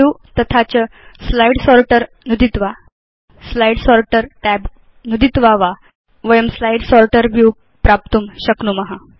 view तथा च slide sorter नुदित्वा Slide सोर्टर् tab नुदित्वा वा वयं स्लाइड् सोर्टर् व्यू प्राप्तुं शक्नुम